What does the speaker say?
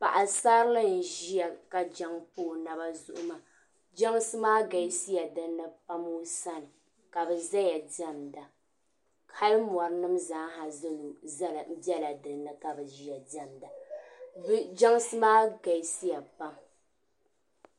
Paɣisarili n-ʒia ka jaŋa pa o naba zuɣu maa. Jɛnsi maa galisiya dinni pam o sani ka bɛ zaya diɛmda hali mɔri zaaha bela dinni ka bɛ ʒia diɛmda. Jɛnsi maa galisiya pam.